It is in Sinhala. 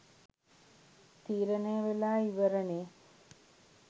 තීරණය වෙලා ඉවරනෙ.